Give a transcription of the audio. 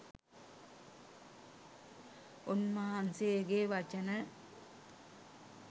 උන්වහන්සේගේ වචන